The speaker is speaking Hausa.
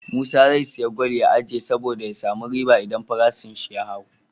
Musa ze siya gwal ya ajiye sabo da ya samu riba idan farashin shi ya hau